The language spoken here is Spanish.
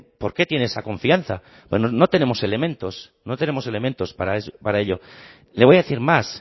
por qué tiene esa confianza no tenemos elementos no tenemos elementos para ello le voy a decir más